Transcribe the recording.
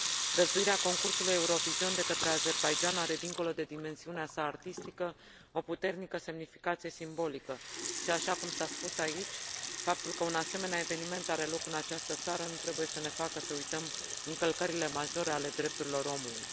Găzduirea concursului Eurovision de către Azerbaidjan are, dincolo de dimensiunea sa artistică, o puternică semnificație simbolică și, așa cum s a spus aici, faptul că un asemenea eveniment are loc în această țară nu trebuie să ne facă să uităm încălcările majore ale drepturilor omului.